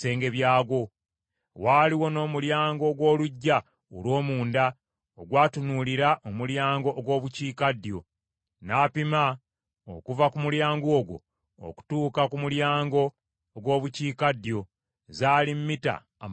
Waaliwo n’omulyango ogw’oluggya olw’omunda ogwatunuulira omulyango ogw’Obukiikaddyo. N’apima okuva ku mulyango ogwo okutuuka ku mulyango ogw’Obukiikaddyo; zaali mita amakumi ataano.